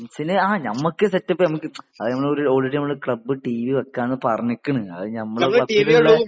ഫാൻസിന് ആ നമ്മക്ക് set up നമ്മക്ക് അത് നമ്മള് ഓൾറെഡി ഓൾറെഡി നമ്മള് ക്ലബ് ടി വി വെക്കാണു പറഞ്ഞിക്ക് ണ് അത് നമ്മുടെ ക്ലബിലുള്ള